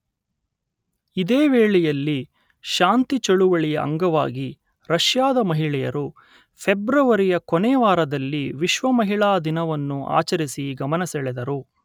ಇದೇ ವೇಳೆಯಲ್ಲಿ ಶಾಂತಿ ಚಳುವಳಿಯ ಅಂಗವಾಗಿ ರಷ್ಯಾದ ಮಹಿಳೆಯರು ಫೆಬ್ರವರಿಯ ಕೊನೆಯವಾರದಲ್ಲಿ ವಿಶ್ವ ಮಹಿಳಾ ದಿನವನ್ನು ಆಚರಿಸಿ ಗಮನಸೆಳೆದರು.